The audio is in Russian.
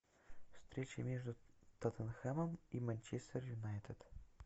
встреча между тоттенхэмом и манчестер юнайтед